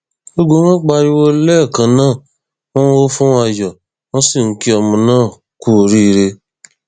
gbogbo wọn pariwo lẹẹkan náà wọn ń hó fún ayọ wọn sì ń kí ọmọ náà kú oríire